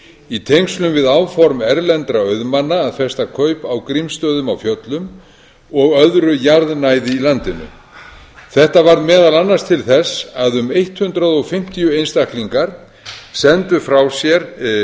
í tengslum við áform erlendra auðmanna að festa kaup á grímsstöðum á fjöllum og öðru jarðnæði í landinu þetta varð meðal annars til þess að um hundrað fimmtíu einstaklingar sendu frá sér svohljóðandi